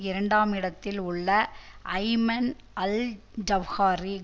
இரண்டாம் இடத்தில் உள்ள அய்மன் அல் ஜகாரி